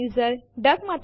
ચાલો સ્ક્રીન સાફ કરીએ